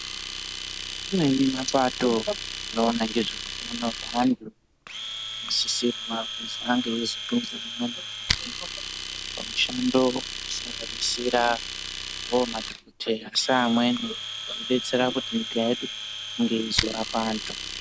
Kune mapato anoona ngezve utano hweantu kusanganirirawo madhokoteya seamweni zveidetsera nyika yedu kuti izorapa antu.